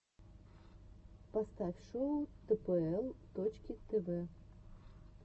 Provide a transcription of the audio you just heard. поставь шоу тпл точки тв